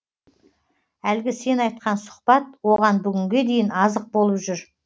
әлгі сен айтқан сұхбат оған бүгінге дейін азық болып жүр